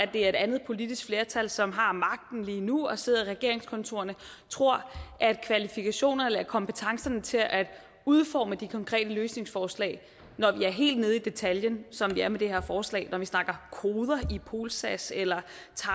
det er et andet politisk flertal som har magten lige nu og sidder i regeringskontorerne tror at kvalifikationerne eller kompetencerne til at udforme de konkrete løsningsforslag når vi er helt nede i detaljen som vi er med det her forslag når vi snakker koder i polsas eller